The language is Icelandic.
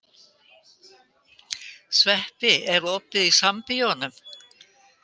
Sveppi, er opið í Sambíóunum?